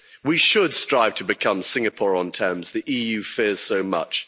deals. We should strive to become Singapore on terms the EU fears so